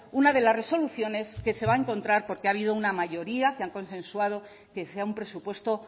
una de las resoluciones que se va a encontrar porque ha habido una mayoría que han consensuado que sea un presupuesto